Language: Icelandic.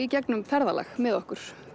gegnum ferðalag með okkur